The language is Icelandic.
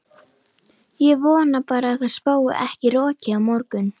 Ég vona bara að það spái ekki roki á morgun.